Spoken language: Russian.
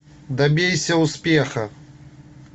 добейся успеха